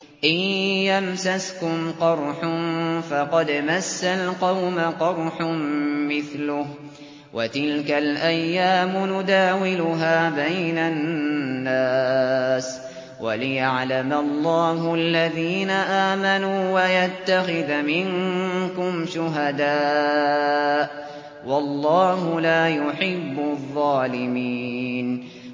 إِن يَمْسَسْكُمْ قَرْحٌ فَقَدْ مَسَّ الْقَوْمَ قَرْحٌ مِّثْلُهُ ۚ وَتِلْكَ الْأَيَّامُ نُدَاوِلُهَا بَيْنَ النَّاسِ وَلِيَعْلَمَ اللَّهُ الَّذِينَ آمَنُوا وَيَتَّخِذَ مِنكُمْ شُهَدَاءَ ۗ وَاللَّهُ لَا يُحِبُّ الظَّالِمِينَ